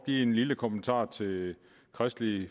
give en lille kommentar til kristelig